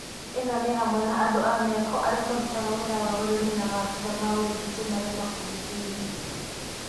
Ĩno nĩ hamwe na andũ a mĩako, arĩa marutaga wĩra wa ũrĩmi na maabitha ma ũgitĩri marĩ mabudithionĩ